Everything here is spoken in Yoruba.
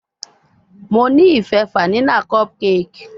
Mo ni ife fanila cupcake